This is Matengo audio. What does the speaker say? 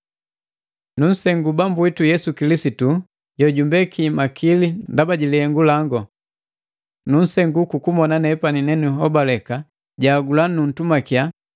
Nusengu Bambu witu Yesu Kilisitu jojumbeki makili ndaba ji lihengu lango. Nunsengu kukumona nepani nenihobaleka, janhagula nutumakiya,